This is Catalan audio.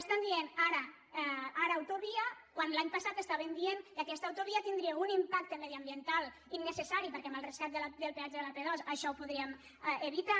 estan dient ara autovia quan l’any passat estaven dient que aquesta autovia tindria un impacte mediambiental in·necessari perquè amb el rescat del peatge de l’ap·dos això ho podríem evitar